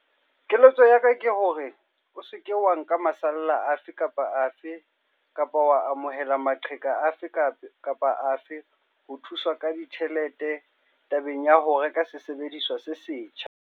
Keletso ya ka ke hore o se ke wa nka masalla afe kapa afe kapa wa amohela maqheka afe kapa afe a ho thuswa ka ditjhelete tabeng ya ho reka sesebediswa se setjha.